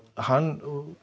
hann